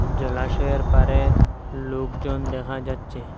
জলাশয়ের পাড়ে লোকজন দেখা যাচ্ছে।